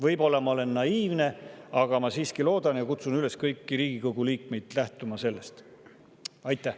Võib-olla ma olen naiivne, aga ma siiski loodan seda ja kutsun kõiki Riigikogu liikmeid üles sellest lähtuma.